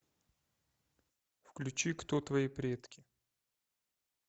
включи кто твои предки